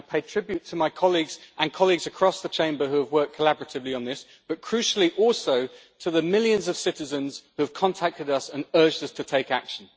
I pay tribute to my colleagues, and to colleagues across the Chamber who have worked collaboratively on this, but crucially also to the millions of citizens who have contacted us and urged us to take action.